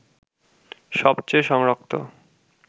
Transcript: সবচেয়ে সংরক্ত